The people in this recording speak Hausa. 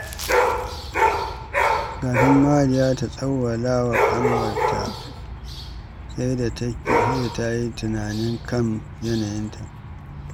Kafin Mariya ta tsawwala wa ƙanwarta, sai da ta yi tunani kan yanayinta.